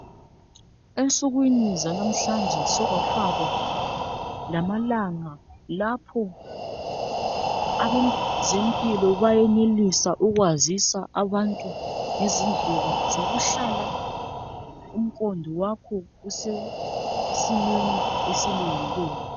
Ensukwini zanamhlanje sokwafakwa lamalanga lapho abezempilo bayenelisa ukwazisa abantu ngezindlela zokuhlala umqondo wakho usesimeni esilungileyo.